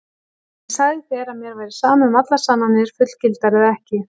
En ég sagði þér að mér væri sama um allar sannanir, fullgildar eða ekki.